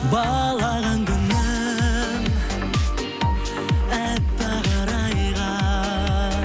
балаған күнің әппақ арайға